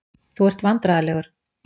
Þú ert vandræðalegur.